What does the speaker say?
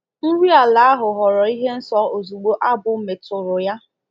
Nri ala ahụ ghọrọ ihe nsọ ozugbo abụ metụrụ ya.